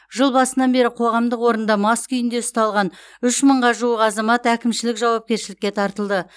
жыл басынан бері қоғамдық орында мас күйінде ұсталған үш мыңға жуық азамат әкімшілік жауапкершілікке тартылды